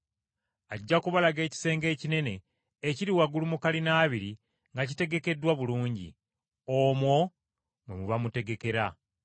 Ajja kubalaga ekisenge ekinene ekya waggulu nga kitegekeddwa bulungi. Omwo mwe muba mutegekera.”